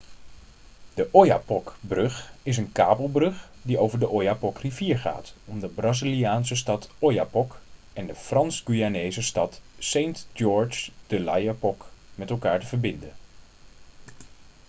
de oyapock-brug is een kabelbrug die over de oyapock-rivier gaat om de braziliaanse stad oiapoque en de frans-guyanese stad saint-georges de l'oyapock met elkaar te verbinden